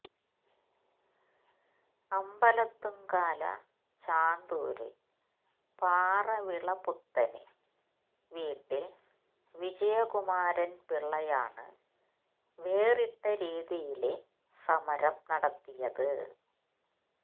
അമ്പലത്തുംകാല ചാന്തൂര് പാറവിളപുത്തന് വീട്ടില് വിജയകുമാരന്പിള്ളയാണ് വേറിട്ട രീതിയില് സമരം നടത്തിയത്